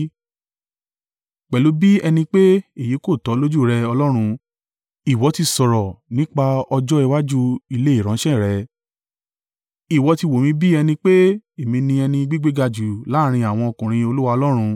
Pẹ̀lú bí ẹni pé èyí kò tó lójú rẹ, Ọlọ́run, ìwọ ti sọ̀rọ̀ nípa ọjọ́ iwájú ilé ìránṣẹ́ rẹ. Ìwọ ti wò mí bí ẹni pé èmi ni ẹni gbígbéga jù láàrín àwọn ọkùnrin Olúwa Ọlọ́run.